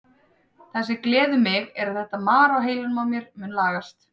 Það sem gleður mig er að þetta mar á heilanum á mér mun lagast.